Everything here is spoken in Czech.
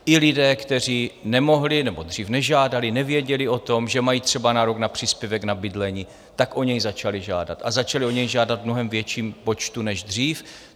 I lidé, kteří nemohli nebo dřív nežádali, nevěděli o tom, že mají třeba nárok na příspěvek na bydlení, tak o něj začali žádat, a začali o něj žádat v mnohem větším počtu než dřív.